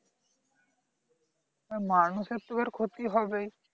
মানুষের তো এবার ক্ষতি হবেই